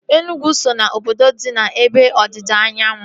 Enugu so ná obodo dị n'ebe ọdịda anyanwụ